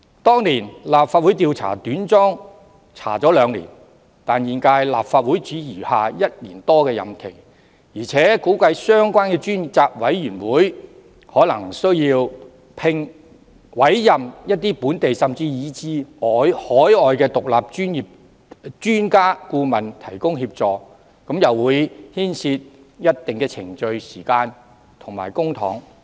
當年立法會花了兩年時間調查短樁事件，但本屆立法會只餘下1年多任期，而且估計相關專責委員會可能需要委任一些本地甚至海外的獨立專家顧問提供協助，會牽涉一定的程序、時間和公帑。